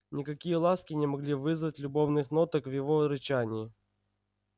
никакие ласки не могли вызвать любовных ноток в его рычании